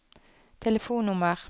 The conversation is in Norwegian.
telefonnummer